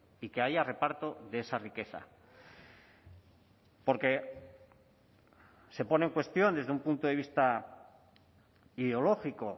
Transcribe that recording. y que haya reparto de esa riqueza porque se pone en cuestión desde un punto de vista ideológico